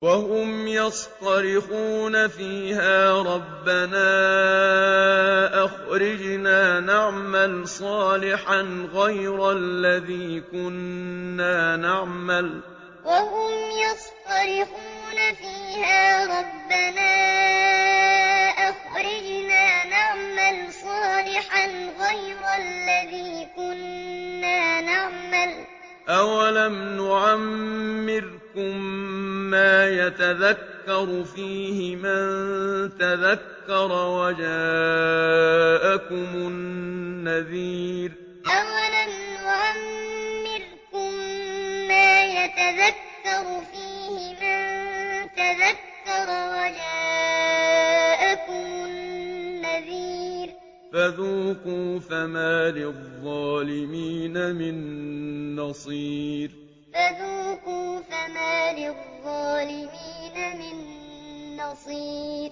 وَهُمْ يَصْطَرِخُونَ فِيهَا رَبَّنَا أَخْرِجْنَا نَعْمَلْ صَالِحًا غَيْرَ الَّذِي كُنَّا نَعْمَلُ ۚ أَوَلَمْ نُعَمِّرْكُم مَّا يَتَذَكَّرُ فِيهِ مَن تَذَكَّرَ وَجَاءَكُمُ النَّذِيرُ ۖ فَذُوقُوا فَمَا لِلظَّالِمِينَ مِن نَّصِيرٍ وَهُمْ يَصْطَرِخُونَ فِيهَا رَبَّنَا أَخْرِجْنَا نَعْمَلْ صَالِحًا غَيْرَ الَّذِي كُنَّا نَعْمَلُ ۚ أَوَلَمْ نُعَمِّرْكُم مَّا يَتَذَكَّرُ فِيهِ مَن تَذَكَّرَ وَجَاءَكُمُ النَّذِيرُ ۖ فَذُوقُوا فَمَا لِلظَّالِمِينَ مِن نَّصِيرٍ